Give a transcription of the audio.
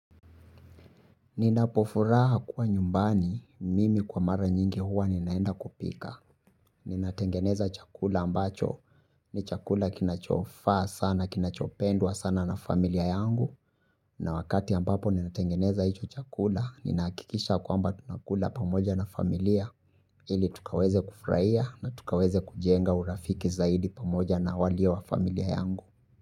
Ninapofuraha kuwa nyumbani mimi kwa mara nyingi huwa ninaenda kupika. Ninatengeneza chakula ambacho ni chakula kinachofaa sana, kinachopendwa sana na familia yangu. Na wakati ambapo ninatengeneza hicho chakula ninahakikisha kwamba tunakula pamoja na familia ili tukaweze kufurahia na tukaweze kujenga urafiki zaidi pamoja na walio wa familia yangu.